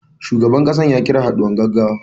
Shugaban kasar ya kira haɗuwar gaggawa.